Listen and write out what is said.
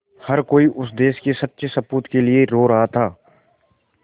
हर कोई उस देश के सच्चे सपूत के लिए रो रहा था